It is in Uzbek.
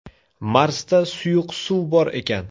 Marsda suyuq suv bor ekan.